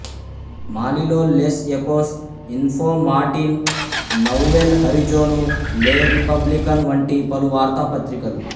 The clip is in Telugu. మాలీలో Les Echos Info Matin Nouvel Horizon Le Republicain వంటి పలు వార్తాపత్రికలు